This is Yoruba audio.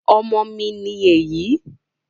ọmọ mi ní èyí